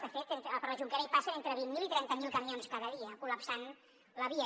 de fet per la jonquera hi passen entre vint mil i trenta mil camions cada dia col·lapsant la via